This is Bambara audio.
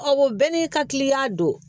Ɔ o bɛɛ n'i ka kiliyan don